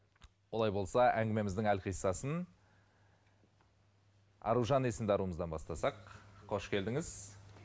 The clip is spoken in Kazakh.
олай болса әңгімеміздің әлқисасын аружан есімді аруымыздан бастасақ қош келдіңіз